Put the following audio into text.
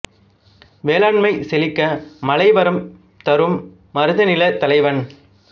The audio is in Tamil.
வேளாண்மை செழிக்க மழை வரம் தரும் மருத நில தலைவன்